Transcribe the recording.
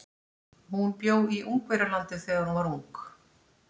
Hún bjó í Ungverjalandi þegar hún var ung.